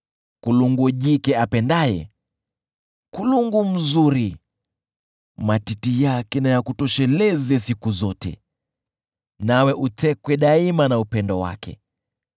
Kulungu jike apendaye, kulungu mzuri: matiti yake na yakutosheleze siku zote, nawe utekwe daima na upendo wake.